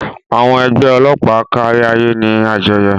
Àwọn ẹgbẹ́ ọlọ́pàá káríayé ní àjọyọ̀.